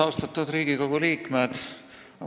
Austatud Riigikogu liikmed!